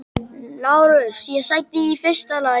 LÁRUS: Ég sagði: í fyrsta lagi.